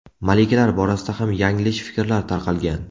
Malikalar borasida ham yanglish fikrlar tarqalgan.